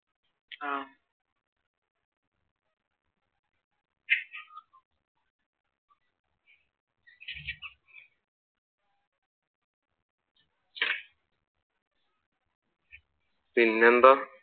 പിന്നെന്താ?